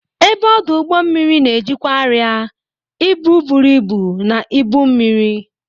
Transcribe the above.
Ebe ọdụ ụgbọ mmiri na-ejikwa arịa, ibu buru ibu, na ibu mmiri.